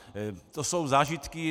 To jsou zážitky.